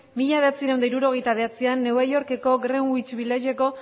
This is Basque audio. mila bederatziehun eta hirurogeita bederatzian new yorkeko greenwich villageko